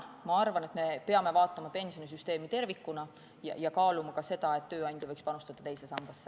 Ma arvan, et me peame vaatama pensionisüsteemi tervikuna ja kaaluma ka seda, et tööandja võiks panustada teise sambasse.